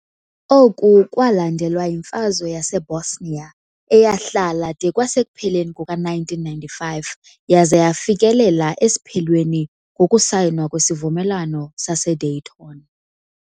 Oku kwalandelwa yiMfazwe yaseBosnia, eyahlala de kwasekupheleni kuka-1995 yaza yafikelela esiphelweni ngokusayinwa kweSivumelwano saseDayton.